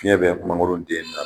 Fiɲɛ bɛ mangoro den labin.